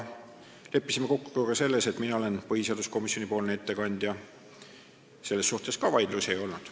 Leppisime kokku ka selles, et mina olen põhiseaduskomisjoni ettekandja, selles suhtes vaidlusi ei olnud.